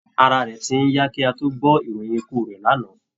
Ara rẹ̀ ti ń yá kí á tún tó gbọ́ ìròyìn ikú rẹ̀ lánàá